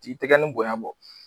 T'i tɛgɛni bonya bɔ